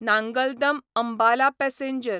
Nangal Dam Ambala passenger